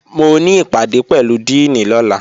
Mo ní ìpàdé pẹ̀lú díìnì lọ́la